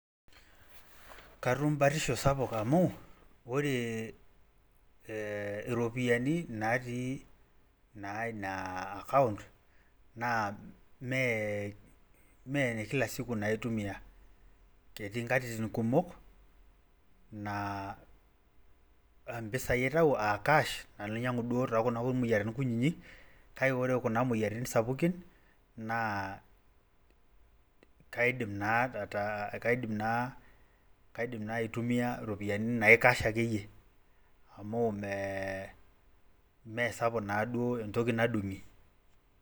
Katum batisho sapuk amu ore iropiyiani natii naa ina account mee mee ine kila siku naitumiayiay. ketii nkatitin kumok naa mpisai aitau aa cash amu kuna moyiaritin kunini kake ore duo moyiaritin sapukin